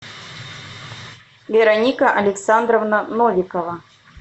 вероника александровна новикова